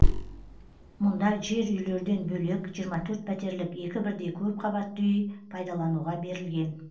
мұнда жер үйлерден бөлек жиырма төрт пәтерлік екі бірдей көпқабатты үй пайдалануға берілген